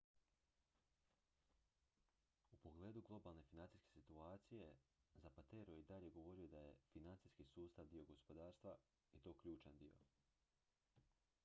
"u pogledu globalne financijske situacije zapatero je i dalje govorio da je "financijski sustav dio gospodarstva i to ključan dio.